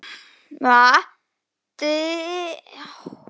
Knýja dyra og kveðja.